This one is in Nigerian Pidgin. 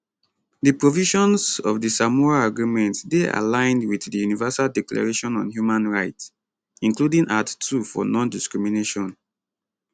di provisions of di samoa agreement dey aligned wit di universal declaration on human rights including art 2 for nondiscrimination